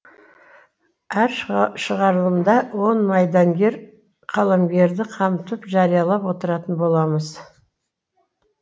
әр шығарылымда он майдангер қаламгерді қамтып жариялап отыратын боламыз